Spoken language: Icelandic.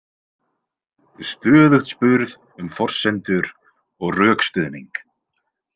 Stöðugt spurð um forsendur og rökstuðning.